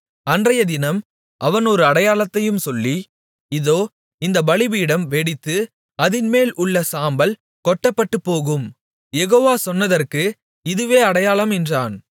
அன்றையதினம் அவன் ஒரு அடையாளத்தையும் சொல்லி இதோ இந்த பலிபீடம் வெடித்து அதின்மேல் உள்ள சாம்பல் கொட்டப்பட்டுப்போகும் யெகோவா சொன்னதற்கு இதுவே அடையாளம் என்றான்